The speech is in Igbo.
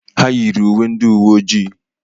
Ha yiri uwe ndị uwoji